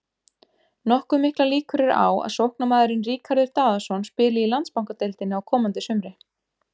Nokkuð miklar líkur eru á að sóknarmaðurinn Ríkharður Daðason spili í Landsbankadeildinni á komandi sumri.